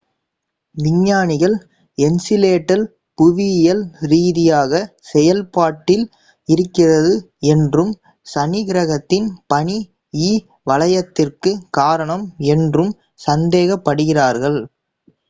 விஞ்ஞானிகள் என்சிலேடஸ் புவியியல் ரீதியாக செயல் பாட்டில் இருக்கிறது என்றும் சனி கிரகத்தின் பனி இ வளையத்திற்கு காரணம் என்றும் சந்தேகப் படுகிறார்கள்